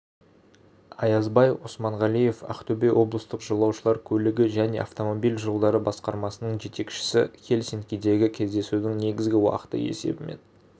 аязбай османғалиев ақтөбе облыстық жолаушылар көлігі және автомобиль жолдары басқармасының жетекшісі хельсинкидегі кездесудің негізгі уақыты есебімен